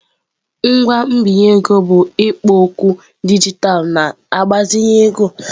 Ngwa mbinye ego bụ ikpo okwu dijitalụ na-agbazinye ego.